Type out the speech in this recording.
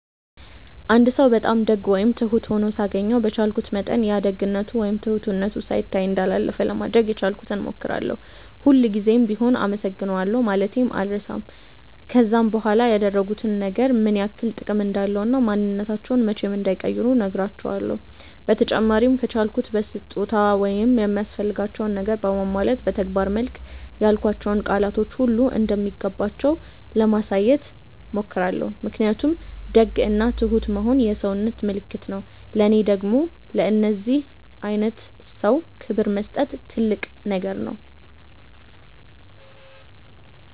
አንድ ሰው በጣም ደግ ወይም ትሁት ሆኖ ሳገኘው በቻልኩት መጠን ያ ደግነቱ ወይም ትሁትነቱ ሳይታይ እንዳላለፈ ለማድረግ የቻልኩትን ሞክራለው፤ ሁል ጉዘም ቢሆም አመሰግናለሁ ማለቴን አልረሳም፤ ከዛም በኋላ ያደረጉት ነገር ምን ያክል ጥቅም እንዳለው እና ማንንነታቸውን መቼም እንዳይቀይሩ ነህራቸውለው፤ በተጨማሪም ከቻልኩ በስጦታ ወይም የሚያስፈልጋቸውን ነገር በማሟላት በተግባር መልክ ያልኳቸው ቃላቶች ሁሉ እንደሚገባቸው ለማሳየት ሞክራለው ምክንያቱም ደግ እና ትሁት መሆን የሰውነት ምልክት ነው ለኔ ደግም ለእንደዚህ አይነት ሰው ክብር መስጠት ትልቅ ነገር ነው።